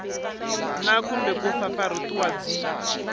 na kumbe ku pfapfarhutiwa byi